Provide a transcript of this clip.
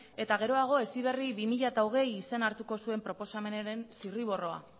eta geroago heziberri bi mila hogei izena hartuko zuen proposamenaren zirriborroa